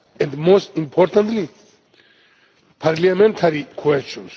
and, fourth and most importantly, parliamentary questions.